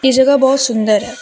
ये जगह बहुत सुंदर है।